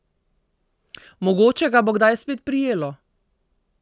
Mogoče ga bo kdaj spet prijelo.